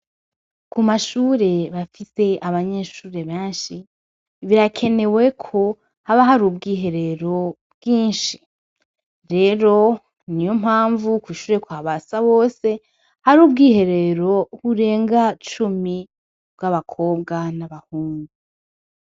Ku mashure bafise abanyeshure benshi birakeneweko haba hari ubwwiherero bwinshi rero ni yo mpamvu kushure kwa basa bose hari ubwiherero burenga cumi bw'abakobwa n'abahungu.